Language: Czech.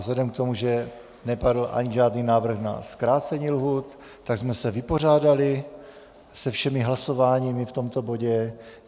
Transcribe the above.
Vzhledem k tomu, že nepadl ani žádný návrh na zkrácení lhůt, tak jsme se vypořádali se všemi hlasováními v tomto bodě.